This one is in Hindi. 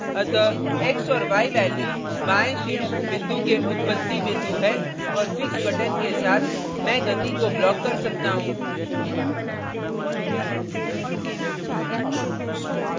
अतः x और x values बाएं शीर्ष बिंदु के उत्पत्ति बिंदु है और fix button के साथ मैं गति को block कर सकता हूँ